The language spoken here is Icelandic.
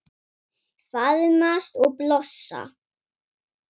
Faðmast og blossa.